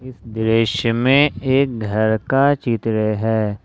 इस दृश्य में एक घर का चित्र है।